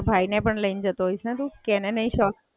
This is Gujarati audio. બરાબર. તારા ભાઈ ને પણ લઈને જતો હોઈશ ને તું કે એને નહીં શોખ?